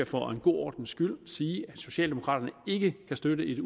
for god ordens skyld sige at socialdemokraterne ikke kan støtte et